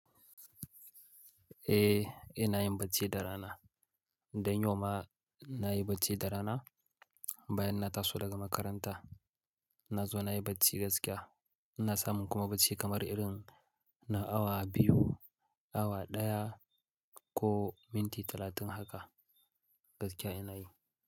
Eh, ina yin bacci da rana. Dan yauma nayi bacci da rana bayan na taso daga makaranta. Na zo nayi bacci gaskiya. Ina samun kuma bacci kamar irin na awa biyu, awa ɗaya ko minti talatin haka gaskiya ina yi.